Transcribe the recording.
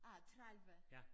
Ah 30